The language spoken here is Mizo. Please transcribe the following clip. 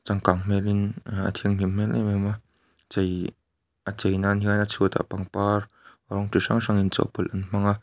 a changkan hmelin a thianghlim hmel em em a chei a chei nan hian a chhuat ah pangpar rawng chi hrang hrang inchawhpawlh an hmang a.